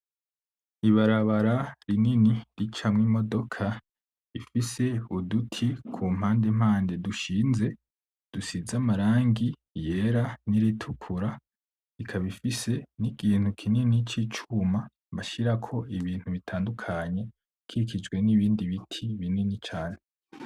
Ibarabara rinini ricamwo imodoka rifise uduti ku mpande mpande dushinze, dusize amarangi yera n'iritukura. Ikaba ifise nikintu kinini c'icuma bashirako ibintu bitandukanye, ikijwe nibindi biti binini cane.